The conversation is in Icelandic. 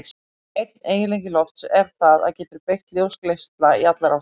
Einn eiginleiki lofts er að það getur beygt ljósgeisla í allar áttir.